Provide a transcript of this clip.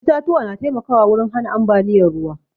Itatuwa na taimkawa wurin hana ambaliyar ruwa